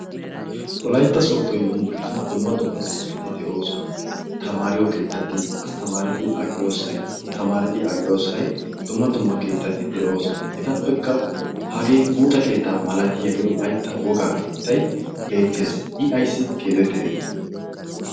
Wolyaitta sootto yumbburshshiyan dumma dumma keettati de'oosona tamaariyo keettati asttamaarati aqiyoosai tamaarati aqiyoosai dumma dumma keettati de'oosona etappekka hagee buuxa keettaa malatiyaagee olaitta wogaa keettai beettees i isi keetettite?